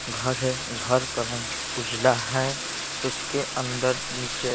घर हैं घर का रंग उजला हैं उसके अंदर नीचे--